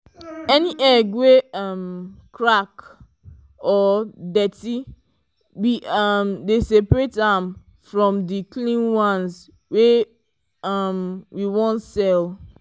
any egg wey um crack or dirty we um dey separate am from the clean ones wey um we wan sell.